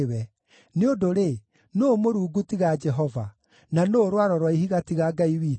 Nĩ ũndũ-rĩ, nũũ Mũrungu tiga Jehova? Na nũũ Rwaro rwa Ihiga tiga Ngai witũ?